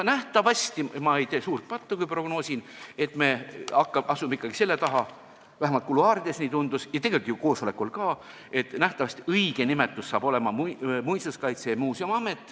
Nähtavasti ei tee ma suurt pattu, kui prognoosin, et me asume ikkagi selle idee taha – vähemalt kuluaarides nii tundus ja tegelikult ju koosolekul ka –, et nähtavasti saab õige nimetus olema Muinsuskaitse ja Muuseumi Amet.